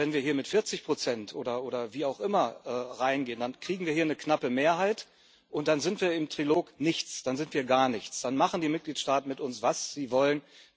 Aber wenn wir hier mit 40 oder wie auch immer reingehen, dann kriegen wir hier eine knappe Mehrheit, und dann sind wir im Trilog nichts, dann sind wir gar nichts, dann machen die Mitgliedstaaten mit uns, was sie wollen.